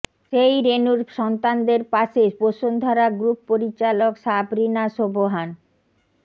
সেই রেনুর সন্তানদের পাশে বসুন্ধরা গ্রুপ পরিচালক সাবরিনা সোবহান